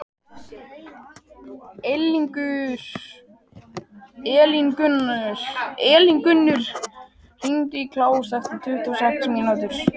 Elíngunnur, hringdu í Kláus eftir tuttugu og sex mínútur.